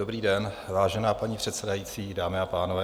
Dobrý den, vážená paní předsedající, dámy a pánové.